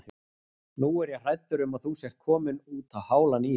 Nú er ég hræddur um að þú sért kominn útá hálan ís.